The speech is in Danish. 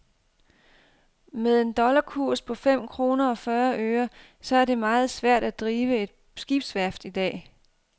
Med en dollarkurs på fem kroner og fyrre øre, så er det meget svært at drive et skibsværft i dag.